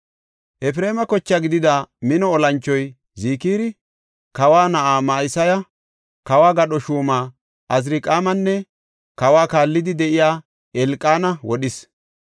Efreema koche gidida mino olanchoy Zikiri, kawa na7aa Ma7iseya, kawo gadho shuuma Azirqaamanne kawa kaallidi de7iya Elqaana wodhis.